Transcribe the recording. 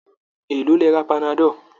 Èlòó lẹ ra panadol?